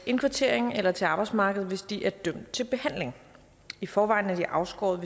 indkvartering eller til arbejdsmarkedet hvis de er dømt til behandling i forvejen er de afskåret